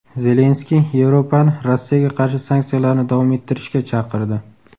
Zelenskiy Yevropani Rossiyaga qarshi sanksiyalarni davom ettirishga chaqirdi.